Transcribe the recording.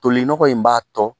Toli nɔgɔ in b'a tɔ